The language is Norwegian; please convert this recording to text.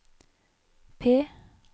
P